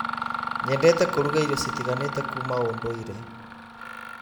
Nyendete kũruga irio citiganĩte kuuma ũndũire.